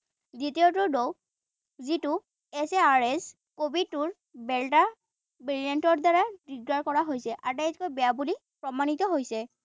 দ্বিতীয়টো ঢৌ যিটো S A R S কভিডৰ দেল্টা variant ৰ দ্বাৰা দিগদাৰ কৰা হৈছে। আটাইতকৈ বেয়া বুলি প্ৰমাণিত হৈছে